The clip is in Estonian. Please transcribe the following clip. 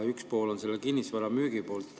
Üks pool on sellel kinnisvaramüügi pool.